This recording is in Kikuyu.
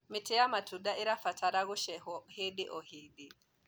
mĩtĩ ya matunda irabatara gũcehwo hĩndĩ o hĩndĩ